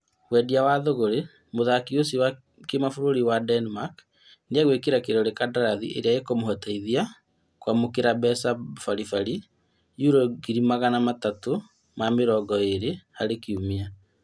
Wendia wa thogorĩ, mũthaki ũcio wa kĩmabũrũri wa Denmark nĩagwĩkĩra kĩrore kandarathi ĩrĩa ĩkũmũteithia kwamũkĩra mbeca bari bari yuro ngiri magana matatũ ma mĩrongo ĩrĩ harĩ kiumia